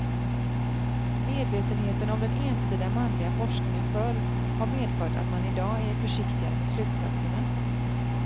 Medvetenheten om den ensidiga manliga forskningen förr har medfört att man idag är försiktigare med slutsatserna.